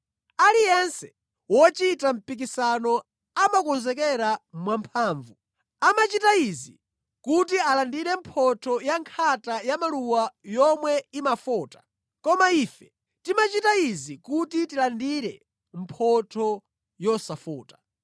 Aliyense wochita mpikisano amakonzekera mwamphamvu. Amachita izi kuti alandire mphotho yankhata yamaluwa yomwe imafota. Koma ife timachita izi kuti tilandire mphotho yosafota.